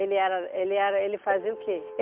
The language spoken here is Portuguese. Ele era ele era ele fazia o que?